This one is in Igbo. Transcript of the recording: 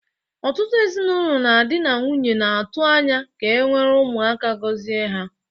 Ọtụtụ ezinaụlọ na dị na nwunye na-atu anya ka ewere Ụmụaka gozie ha.